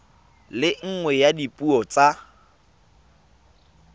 le nngwe ya dipuo tsa